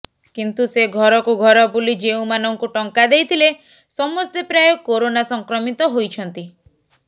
କିନ୍ତୁ ସେ ଘରକୁ ଘର ବୁଲି ଯେଉଁମାନଙ୍କୁ ଟଙ୍କା ଦେଇଥିଲେ ସମସ୍ତେ ପ୍ରାୟ କରୋନା ସଂକ୍ରମିତ ହୋଇଛନ୍ତି